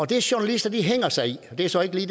det journalister hænger sig i og det er så ikke